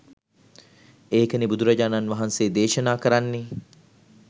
ඒකනේ බුදුරජාණන් වහන්සේ දේශනා කරන්නේ